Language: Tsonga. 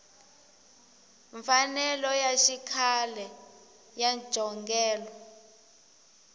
mfanelo ya xikhale ya njhongelo